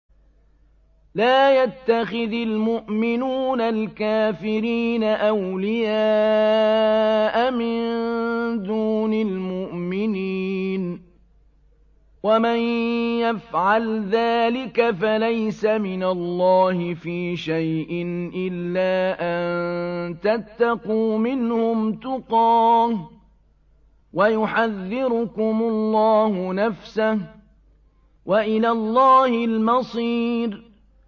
لَّا يَتَّخِذِ الْمُؤْمِنُونَ الْكَافِرِينَ أَوْلِيَاءَ مِن دُونِ الْمُؤْمِنِينَ ۖ وَمَن يَفْعَلْ ذَٰلِكَ فَلَيْسَ مِنَ اللَّهِ فِي شَيْءٍ إِلَّا أَن تَتَّقُوا مِنْهُمْ تُقَاةً ۗ وَيُحَذِّرُكُمُ اللَّهُ نَفْسَهُ ۗ وَإِلَى اللَّهِ الْمَصِيرُ